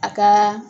A ka